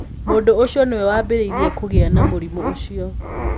Mũndũ ũcio tiwe waambĩrĩirie kũgĩa na mũrimũ ũcio.